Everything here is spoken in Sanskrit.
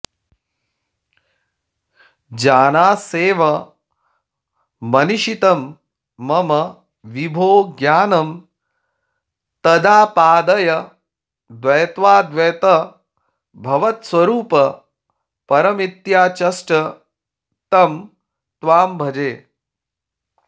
जानास्येव मनीषितं मम विभो ज्ञानं तदापादय द्वैताद्वैतभवत्स्वरूपपरमित्याचष्ट तं त्वां भजे